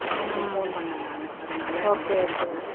உங்களை phone பண்ணேன் நானு அதனால வந்து phone பண்ணேன்